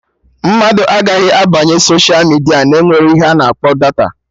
Mmadụ agaghị abanye soshia midia na-enwerọ ihe a na-akpọ data